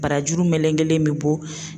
Barajuru melegelen bi bo